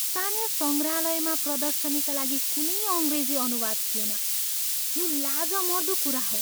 स्थानीय सङ्ग्रहालयमा प्रदर्शनीका लागि कुनै अङ्ग्रेजी अनुवाद थिएन, यो लाजमर्दो कुरा हो।